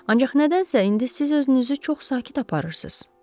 Ancaq nədənsə indi siz özünüzü çox sakit aparırsınız.